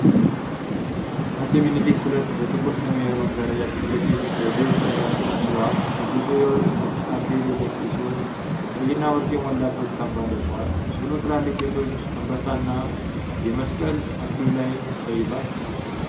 አፄ ምኒልክ II በጥቁር ሰማያዊ መጋረጃ ፊት ለፊት በዘይት ቀለም ተስለዋል። ንጉሡ የወርቅ አክሊል የደፉ ሲሆን፣ ቀይና ወርቅ የሞላበት ካባ ለብሰዋል። ስዕሉ ትላልቅ ጌጦች፣ አንበሳ እና መስቀል አክሊሉ ላይ አሳይቷል።